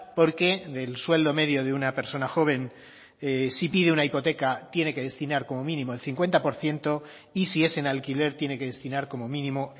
porque del sueldo medio de una persona joven si pide una hipoteca tiene que destinar como mínimo el cincuenta por ciento y si es en alquiler tiene que destinar como mínimo